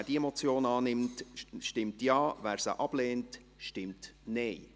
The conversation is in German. Wer diese Motion annimmt, stimmt Ja, wer diese ablehnt, stimmt Nein.